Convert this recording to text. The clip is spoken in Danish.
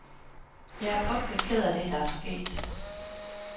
Jeg er frygtelig ked af det, der er sket.